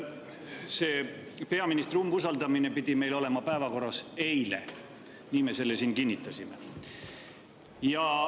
Nimelt, peaministri umbusaldamine pidi meil olema päevakorras eile, nii me selle siin kinnitasime.